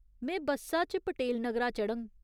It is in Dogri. में बस्सा च पटेल नगरा चढ़ङ।